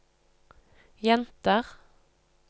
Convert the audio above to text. jenter